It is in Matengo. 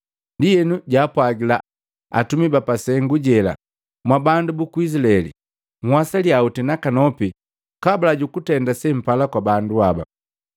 Ndienu jaa pwagila atumi bapasengu jela, “Mwa bandu buku Izilaeli, nhwasalia oti nakanopi kabula jukutenda sempala kwa bandu haba.